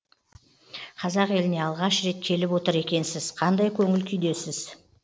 қазақ еліне алғаш рет келіп отыр екенсіз қандай көңіл күйдесіз